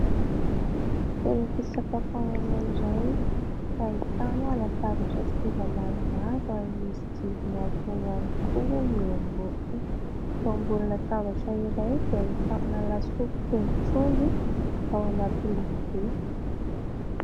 Toeram-pisakafoanana iray, ahitana latabatra sy seza maromaro ary misy jiro miantona ihany koa eo ambony. Eo ambonin'ny latabatra iray dia ahitana lasopy tongotr'omby ao anaty lovia.